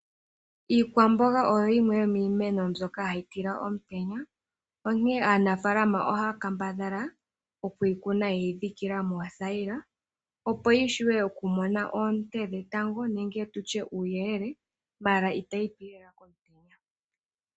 Iikwamboga oyo yimwe yo miimeno mbyoka hayi tila omutenya. Onkene aanafalama ohaya kambadhala okuyi kuna yeyi dhikila moothayila opo yi shuwe oku mona oonte dhetango, nenge tushe uuyelele ihe ita yi pi lela komutenya.